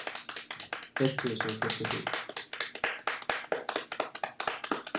etttusen sjuttiosju